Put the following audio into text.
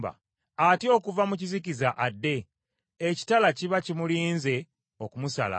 Atya okuva mu kizikiza adde, ekitala kiba kimulinze okumusala.